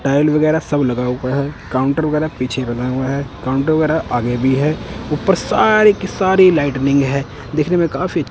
tile वगैरह सब लगा हुआ है काउंटर वगैरा पीछे बना हुआ है काउंटर वगैरा आगे भी है ऊपर सारी की सारी लाइटिनिंग है दिखने में काफी--